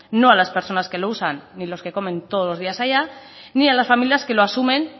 no a las personas que lo usan ni los que comen todos los días allá ni a las familias que lo asumen